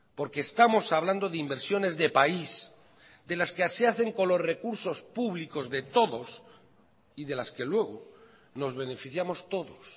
porque estamos hablando de inversiones de país de las que se hacen con los recursos públicos de todos y de las que luego nos beneficiamos todos